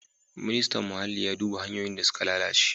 Ministan Muhalli ya duba hanyoyin da suka lalace.